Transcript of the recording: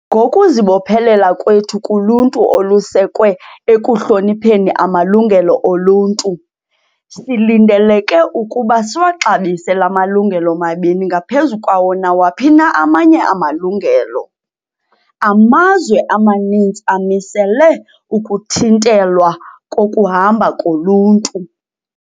"Ngokuzibophelela kwethu kuluntu olusekwe ekuhlonipheni amalungelo oluntu, silindeleke ukuba siwaxabise la malungelo mabini ngaphezu kwawo nawaphi na amanye amalungelo." Amazwe amaninzi amisele ukuthintelwa kokuhamba koluntu.